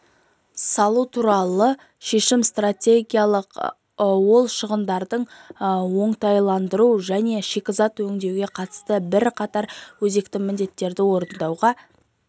салу туралы шешім стратегиялық ол шығындарды оңтайландыруға және шикізат өңдеуге қатысты бірақатар өзекті міндеттерді орындауға